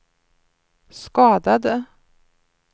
skadade